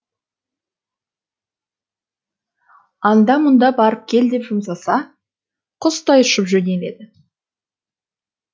анда мұнда барып кел деп жұмсаса құстай ұшып жөнеледі